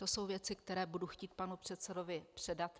To jsou věci, které budu chtít panu předsedovi předat.